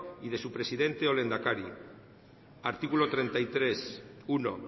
y de su presidente o lehendakari artículo treinta y tres uno